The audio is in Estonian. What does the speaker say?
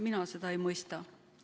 Mina seda ei mõista.